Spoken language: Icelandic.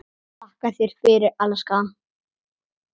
Þakka þér fyrir, elskan.